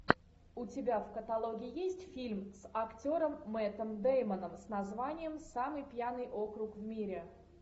у тебя в каталоге есть фильм с актером мэттом дэймоном с названием самый пьяный округ в мире